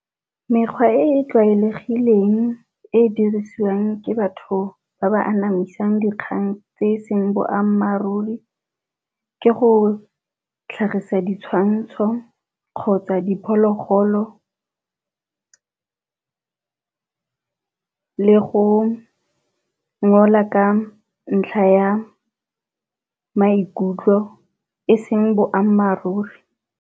Mekgwa e e tlwaelegileng e e dirisiwang ke batho ba ba anamisang dikgang tse e seng boammaaruri, ke go tlhagisa ditshwantsho kgotsa di phologolo le go ngola ka ntlha ya maikutlo e seng boammaaruri.